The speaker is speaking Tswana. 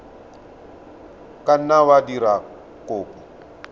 ka nna wa dira kopo